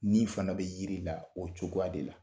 Ni fana bɛ yiri la o cogo de la.